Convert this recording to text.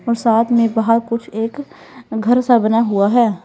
और साथ में बाहर कुछ एक घर सा बना हुआ है।